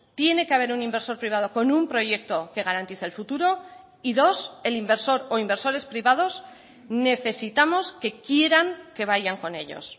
tiene que haber un inversor privado con un proyecto que garantice el futuro y dos el inversor o inversores privados necesitamos que quieran que vayan con ellos